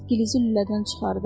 Gilizi lülədən çıxardı.